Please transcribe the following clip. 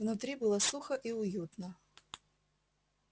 внутри было сухо и уютно